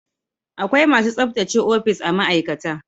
Akwai masu tsabtace ofis a ma'aikata